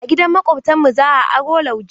A gidan Maƙwabtanmu za aro lauje.